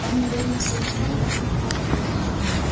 вам наверное все это неприятно